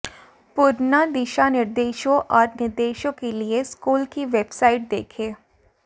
पूर्ण दिशानिर्देशों और निर्देशों के लिए स्कूल की वेबसाइट देखें